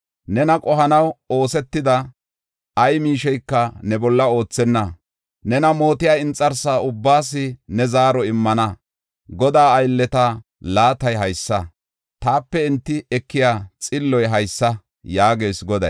Nena qohanaw oosetida ay miisheyka ne bolla oothenna; nena mootiya inxarsa ubbaas ne zaaro immana. Godaa aylleta laatay haysa; taape enti ekiya xillo haysa” yaagees Goday.